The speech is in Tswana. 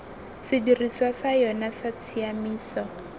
sedirisiwa sa yona sa tshiaimiso